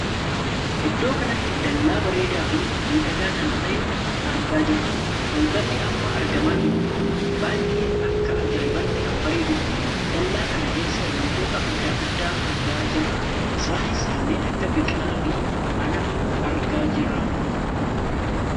Iddoo kanatti dallaa bareedaa fi miidhagaa kan ta'ee argaa jirra. Balballi amma argamaa jiru kun baay'ee akka ajaa'ibaatti kan bareedduudha. Dallaa kana keessa wantoota addaa addaa argaa jira isaanis kanneen akka biqilaa fi mana argaa jirraam.